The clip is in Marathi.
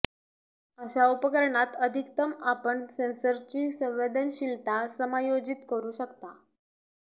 अशा उपकरणात अधिकतम आपण सेन्सरची संवेदनशीलता समायोजित करू शकता